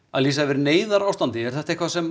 að lýsa yfir neyðarástandi er þetta eitthvað sem